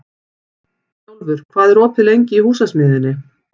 Snjólfur, hvað er opið lengi í Húsasmiðjunni?